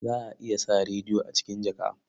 Za a iya sa rediyo a cikin jaka.